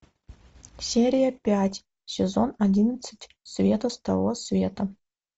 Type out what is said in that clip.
серия пять сезон одиннадцать света с того света